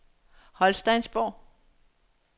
Holsteinsborg